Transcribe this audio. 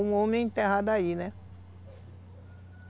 Um homem é enterrado aí, né?